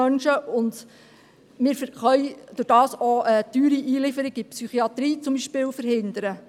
Dadurch können wir zum Beispiel auch teure Einlieferungen in die Psychiatrie verhindern.